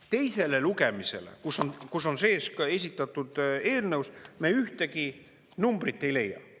Teisele lugemisele, kus on sees ka esitatud eelnõus, me ühtegi numbrit ei leia.